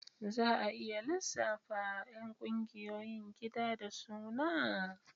Za a iya lissafa ƴan ƙungiyoyin gida da suna?